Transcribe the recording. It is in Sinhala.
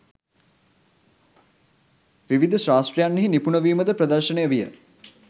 විවිධ ශාස්ත්‍රයන්හි, නිපුන වීමද ප්‍රදර්ශනය විය.